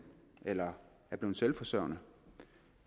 eller er blevet selvforsørgende